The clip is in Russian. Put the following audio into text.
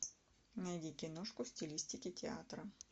найди киношку в стилистике театра